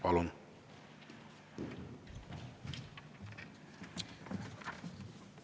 Palun!